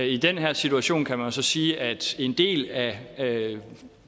i den her situation kan man jo så sige at en del af af